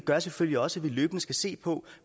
gør selvfølgelig også at vi løbende skal se på